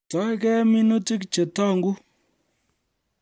Istoegei minutik che tong'u